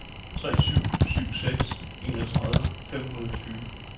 tre syv syv seks enogtredive fem hundrede og tyve